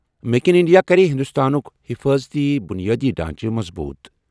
Make in India کَرِ ہِنٛدُستانُک حِفاظتی بُنیٲدی ڈھانچہٕ مضبوٗط۔